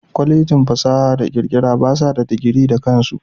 Kwalejin fasaha da kirkira basa bada digiri na kansu.